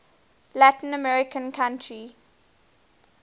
latin american country